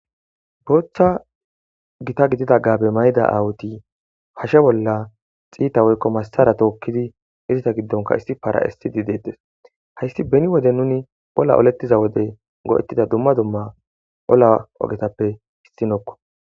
boochcha gita gidida gabe mayda awuti hashe bolla xiita woykko massara tookkidi izita giddonka issi para7esidi deedes hayssi beni wode nuni olla olettiza wode go7ettida dumma dumma ola ogetappe hisxinokko.